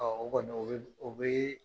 o kɔni o bɛ o bɛ